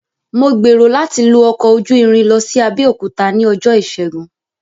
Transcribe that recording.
Mò gbèrò láti lo ọkọ ojú irin lọ sí Abẹ́òkúta ní ọjọ́ ìṣègun